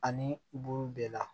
Ani bulu bɛɛ la